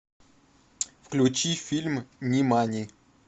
включи фильм нимани